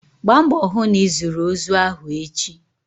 Gbaa mbọ hụ na ịzụrụ ozu ahụ echi!